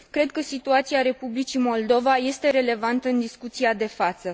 Cred că situația Republicii Moldova este relevantă în discuția de față.